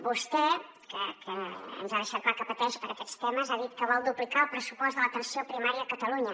vostè que ens ha deixat clar que pateix per aquests temes ha dit que vol duplicar el pressupost de l’atenció primària a catalunya